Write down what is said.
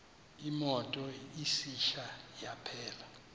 imoto isitsha yaphela